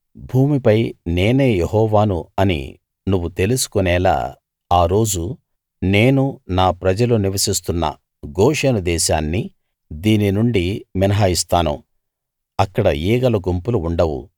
భూమిపై నేనే యెహోవాను అని నువ్వు తెలుసుకొనేలా ఆ రోజు నేను నా ప్రజలు నివసిస్తున్న గోషెను దేశాన్ని దీని నుండి మినహాయిస్తాను అక్కడ ఈగల గుంపులు ఉండవు